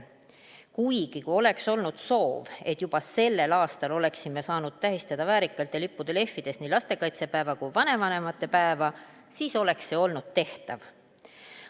Kuigi, kui oleks olnud soov, et juba sellel aastal oleksime saanud tähistada väärikalt ja lippude lehvides nii lastekaitsepäeva kui vanavanemate päeva, siis oleks see olnud tehtav.